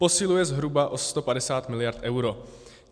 Posiluje zhruba o 150 miliard euro.